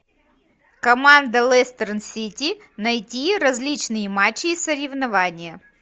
команда лестер сити найти различные матчи и соревнования